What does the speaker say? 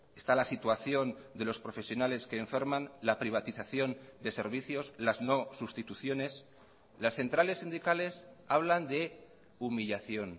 está la situación de los profesionales que enferman la privatización de servicios las no sustituciones las centrales sindicales hablan de humillación